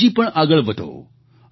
આપ હજી પણ આગળ વધો